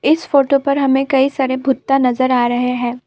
इस फोटो पर हमें कई सारे भुट्टा नजर आ रहे हैं।